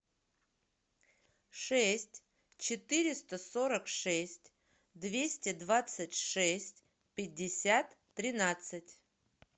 шесть четыреста сорок шесть двести двадцать шесть пятьдесят тринадцать